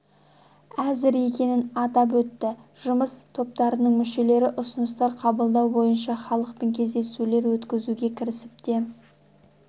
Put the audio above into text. әзір екенін атап өтті жұмыс топтарының мүшелері ұсыныстар қабылдау бойынша халықпен кездесулер өткізуге кірісіп те